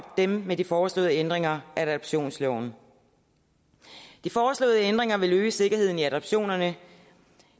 dem med de foreslåede ændringer af adoptionsloven de foreslåede ændringer vil øge sikkerheden i adoptionerne